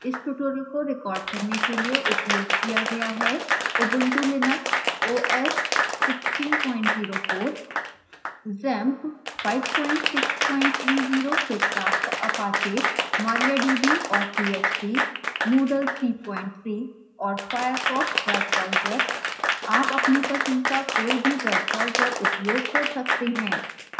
इस tutorial को recorded करने के लिए उपयोग किया गया है: